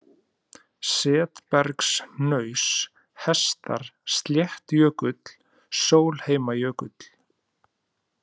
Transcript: Setbergshnaus, Hestar, Sléttjökull, Sólheimajökull